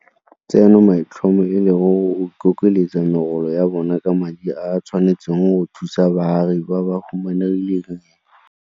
Tseno maitlhomo e le go ikokeletsa megolo ya bona ka madi a a tshwanetseng go thusa baagi ba ba humanegileng.